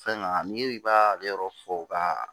Fɛn na ni i b'a yɔrɔ fɔ ka